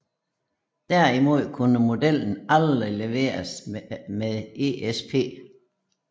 Derimod kunne modellen aldrig leveres med ESP